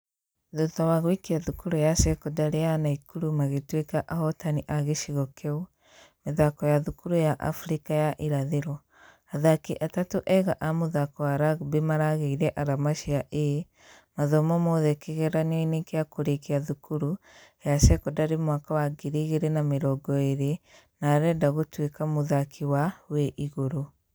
Thutha wa gũikia thukuru ya sekondari ya naikuru magĩtũĩka ahotani a gĩcigo kĩu mĩthako ya thukuru africa ya ĩrathĩro. Athaki atatũ ega a mũthako wa rugby maragĩire arama cia A mathomo mothe kĩgĩranio-inĩ gĩa kũrekia thukuru ya sekondari mwaka wa 2020 na arenda gũtwĩka mũthaki wa.....wĩ igũrũ.